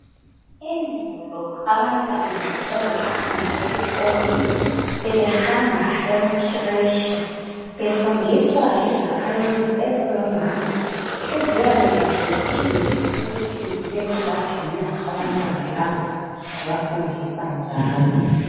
Endulo nxa abantwana bengakahambi esikolo bebehamba emakireshi. Befundiswa yizakhamizi ezingomama eziyabe zikhethiwe ukuthi zibe zibagcina abantwana laba zibafundisa njalo.